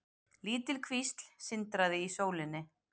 Lítil kvísl sindraði í sólinni.